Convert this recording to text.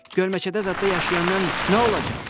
Gölməçədə zadda yaşayandan nə olacaq?